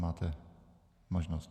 Máte možnost.